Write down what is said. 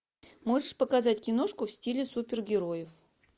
можешь показать киношку в стиле супергероев